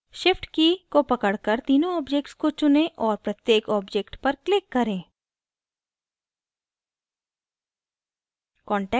shift की को पकड़कर तीनों objects को चुनें और प्रत्येक objects पर क्लिक करें